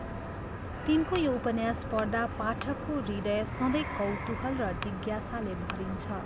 तिनको यो उपन्यास पढ्दा पाठकको हृदय सधैँ कौतूहल र जिज्ञासाले भरिन्छ।